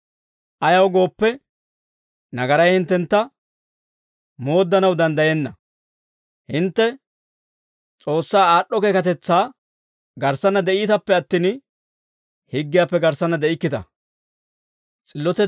ayaw gooppe, nagaray hinttentta mooddanaw danddayenna; hintte S'oossaa aad'd'o keekatetsaa garssanna de'iitappe attin, higgiyaappe garssanna de'ikkita.